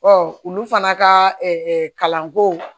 olu fana ka kalanko